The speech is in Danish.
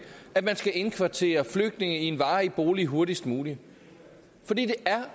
at man skal indkvartere flygtninge i en varig bolig hurtigst muligt for det er